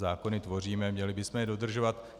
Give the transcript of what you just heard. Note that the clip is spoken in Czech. Zákony tvoříme, měli bychom je dodržovat.